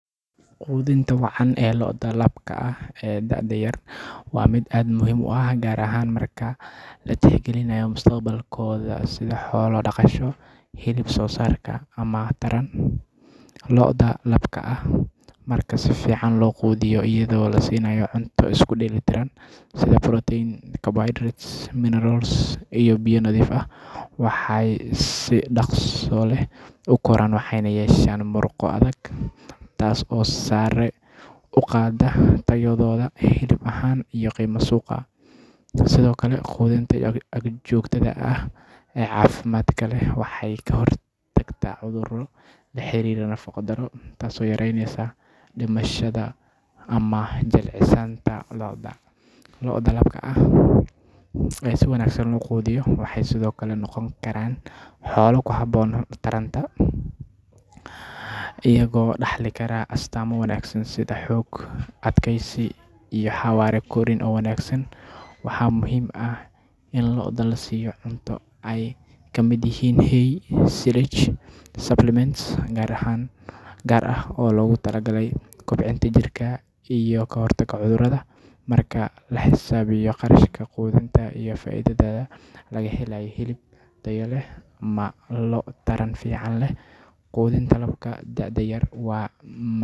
Quudinta wacan ee lo’da labka ah ee da’da yar waa mid aad muhiim u ah gaar ahaan marka la tixgelinayo mustaqbalkooda sida xoolo dhaqasho, hilib soosaarka, ama taran. Lo’da labka ah marka si fiican loo quudiyo iyadoo la siinayo cunto isku dheelitiran sida protein, carbohydrates, minerals, iyo biyo nadiif ah, waxay si dhakhso leh u koraan waxayna yeeshaan murqo adag, taas oo sare u qaadda tayadooda hilib ahaan iyo qiimaha suuqa. Sidoo kale, quudinta joogtada ah ee caafimaadka leh waxay ka hortagtaa cudurrada la xiriira nafaqo darro, taasoo yareynaysa dhimashada ama jilicsanaanta lo’da. Lo’da labka ah ee si wanaagsan loo quudiyo waxay sidoo kale noqon karaan xoolo ku habboon taranta, iyagoo dhaxli kara astaamo wanaagsan sida xoog, adkaysi, iyo xawaare korriin oo wanaagsan. Waxaa muhiim ah in lo’da la siiyo cunto ay ka mid yihiin hay, silage, iyo supplements gaar ah oo loogu talagalay kobcinta jirka iyo ka hortagga cudurrada. Marka la xisaabiyo kharashka quudinta iyo faa’iidada laga helayo hilib tayo leh ama lo’ taran fiican leh, quudinta labka da’da yar waa.